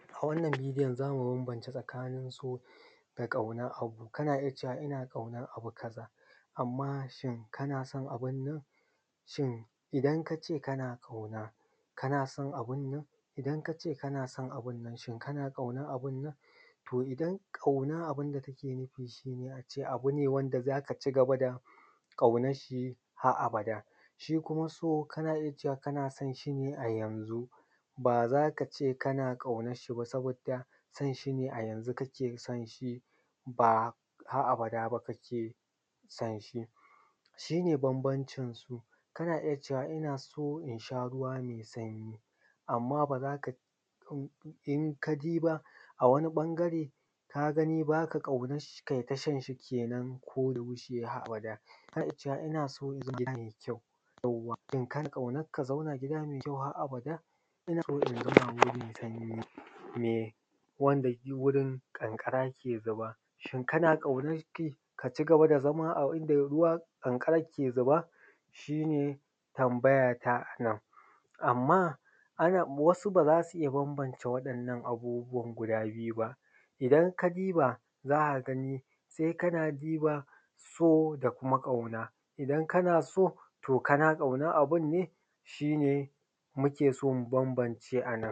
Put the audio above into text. A wannan bidiyon, za mu bambance tsakanin So da ƙauna. Kana iya cewa: Ina ƙaunan abu kaza. Amma shin kana son abun nan? Shin idan ka ce kana ƙauna, kana son abun nan? Idan ka ce kana son abun nan, shin kana ƙaunan abun nan? To, idan ƙauna ne, abun da kake nufi shine a ce abu ne wanda za ka cigaba da ƙaunanshi har abada. Shi kuma So, kana jin kana son shi ne a yanzu, ba za ka ce kana ƙaunanshi ba, saboda son, shi ne a yanzu kake son shi, ba har abada ba kake son shi. Shi ne bambancin so. Kana iya cewa: “Ina son shan ruwa mai sanyi.” Amma ba za ka iya cewa: ina ƙaunan shan ruwa mai sanyi ba In ka diba a wani ɓangare, ka gani ba ka ƙaunan shi, kai ta shan shi kenan, ko da fushi, har abada? Ko in ce: “Ina son in gina gida mai kyau.” Idan ka ƙanan, ka zauna a gida mai kyau, har abada? Mai wanda gurin ƙanƙara ke zuba? Shin kana ƙauna shi, ka cigaba da zama a inda ruwa ƙanƙara ke zama? Shi ne tambaya ta a nan. Amma akwai wasu da ba za su iya bambance wa’innan abubbuwan guda biyu ba. Idan ka diba za ka gani, sai ka diba So da Ƙauna. Idan kana So, to kana Ƙaunan abun ne? Shi ne muke son mu bambance a nan.